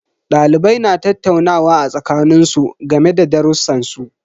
Dalibai na tattaunawa a tsakanin su game da darrusan su.